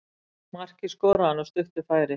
Markið skoraði hann af stuttu færi.